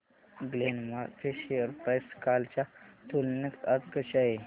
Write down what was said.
Glenmark ची share price कालच्या तुलनेत आज कशी आहे